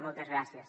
moltes gràcies